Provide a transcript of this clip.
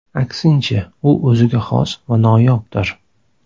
Aksincha, u o‘ziga xos va noyobdir.